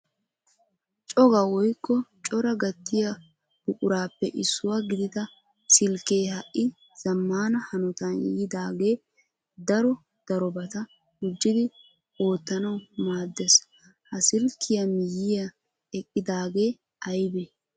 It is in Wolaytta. Coga woykko cora gattiya buqurappe issuwaa gidida silkke ha'i zammana hanotan yiidaage daro darobata gujjidi oottanaw maaddees. Ha silkkiya miyyiya eqqidaage aybbe?